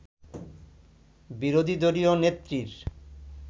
বিরোধী দলীয় নেত্রীর